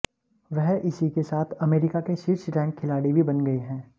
वह इसी के साथ अमेरिका के शीर्ष रैंक खिलाड़ी भी बन गए हैं